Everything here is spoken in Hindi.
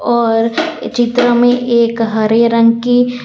और चित्र में एक हरे रंग की --